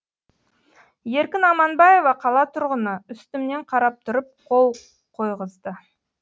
еркін аманбаева қала тұрғыны үстімнен қарап тұрып қол қойғызды